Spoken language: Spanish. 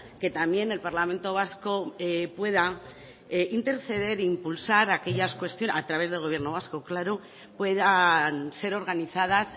que también el parlamento vasco pueda interceder e impulsar aquellas cuestiones a través del gobierno vasco claro puedan ser organizadas